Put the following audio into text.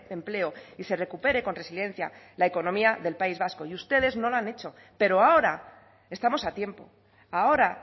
empleo y se recupere con resiliencia la economía del país vasco y ustedes no lo han hecho pero ahora estamos a tiempo ahora